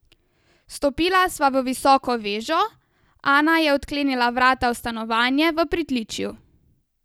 Vstopila sva v visoko vežo, Ana je odklenila vrata v stanovanje v pritličju.